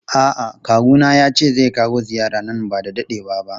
A'a kawuna yace zai kawo ziyara nan bada dadewa ba.